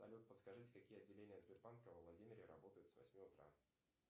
салют подскажите какие отделения сбербанка во владимире работают с восьми утра